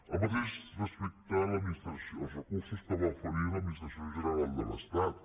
el mateix respecte als recursos que va oferir l’administració general de l’estat